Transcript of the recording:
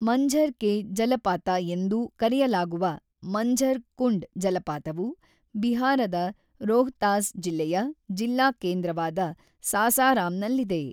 ಮಂಝರ್ ಕೆ ಜಲಪಾತ ಎಂದೂ ಕರೆಯಲಾಗುವ ಮಂಝರ್ ಕುಂಡ್ ಜಲಪಾತವು ಬಿಹಾರದ ರೋಹ್ತಾಸ್ ಜಿಲ್ಲೆಯ ಜಿಲ್ಲಾ ಕೇಂದ್ರವಾದ ಸಾಸಾರಾಮ್‌ನಲ್ಲಿದೆ.